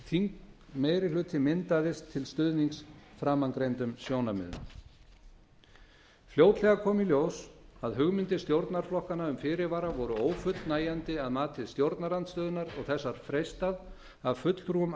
var að þingmeirihluti myndaðist til stuðnings framangreindum sjónarmiðum fljótlega kom í ljós að hugmyndir stjórnarflokkana um fyrirvara voru ófullnægjandi að mati stjórnarandstöðunnar og þess var freistað af fulltrúum